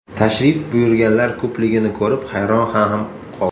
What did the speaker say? Tashrif buyurganlar ko‘pligini ko‘rib hayron ham qoldi.